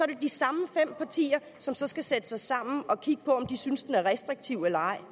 det de samme fem partier som så skal sætte sig sammen og kigge på om de synes den er restriktiv eller ej